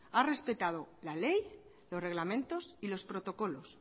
ha respetado la ley los reglamentos y los protocolos